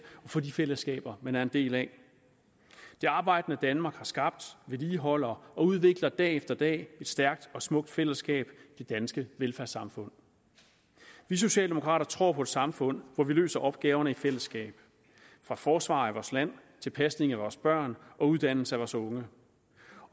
og for de fællesskaber man er en del af det arbejdende danmark har skabt vedligeholder og udvikler dag efter dag et stærkt og smukt fællesskab i det danske velfærdssamfund vi socialdemokrater tror på et samfund hvor vi løser opgaverne i fællesskab fra forsvaret af vores land til pasning af vores børn og uddannelse af vores unge